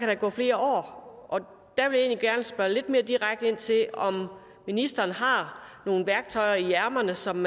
der gå flere år og der vil jeg spørge lidt mere direkte ind til om ministeren har nogle værktøjer i ærmet som